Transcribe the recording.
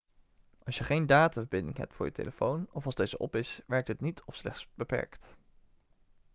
als je geen dataverbinding hebt voor je telefoon of als deze op is werkt het niet of slechts beperkt